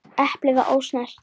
Eplið var ósnert.